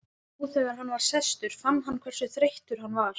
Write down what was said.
Nú þegar hann var sestur fann hann hversu þreyttur hann var.